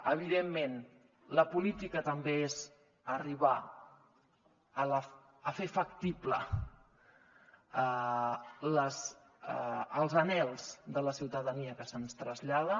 evidentment la política també és arribar a fer factibles els anhels de la ciutadania que se’ns traslladen